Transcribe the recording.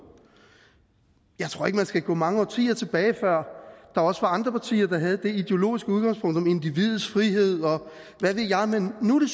jeg tror ikke man skal gå mange årtier tilbage før der også var andre partier der havde det ideologiske udgangspunkt om individets frihed og hvad ved jeg men nu